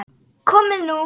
Komið nú